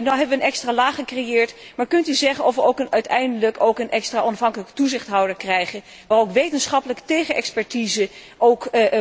Nu hebben we een extra laag gecreëerd, maar kunt u zeggen of we uiteindelijk ook een extra onafhankelijke toezichthouder krijgen, waarop ook wetenschappelijke tegenexpertise